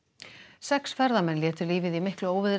sex ferðamenn létu lífið í miklu óveðri